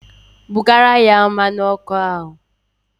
Bugara ya mmanụ ọkụ ahụ!